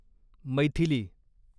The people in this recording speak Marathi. मैथिली